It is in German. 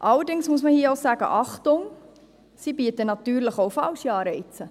Allerdings muss man hier auch sagen: «Achtung», denn sie bieten natürlich auch falsche Anreize.